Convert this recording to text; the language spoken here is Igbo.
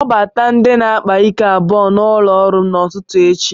kpọbata ndị na-akpa ike abụọ n'ụlọ ọrụ m echi